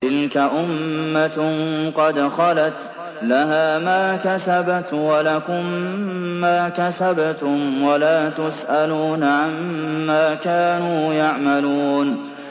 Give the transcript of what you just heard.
تِلْكَ أُمَّةٌ قَدْ خَلَتْ ۖ لَهَا مَا كَسَبَتْ وَلَكُم مَّا كَسَبْتُمْ ۖ وَلَا تُسْأَلُونَ عَمَّا كَانُوا يَعْمَلُونَ